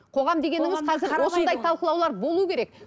осындай талқылаулар болу керек